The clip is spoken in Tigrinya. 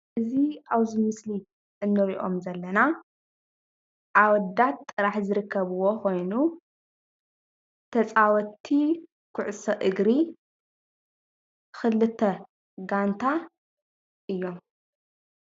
እዚ ኣብዚ ምስሊ ንሪኦም ዘለና ኣወዳት ጥራሕ ዝርከብዎ ኮይኑ ተፃወትቲ ኩዕሶ እግሪ ክልተ ጋንታ እዮም፡፡